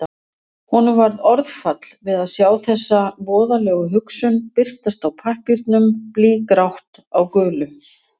Honum varð orðfall við að sjá þessa voðalegu hugsun birtast á pappírnum, blýgrátt á gulu.